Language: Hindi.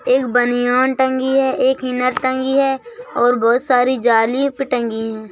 एक बनियान टंगी है एक इनर टंगी है और बहुत सारी जालीप टंगी हैं।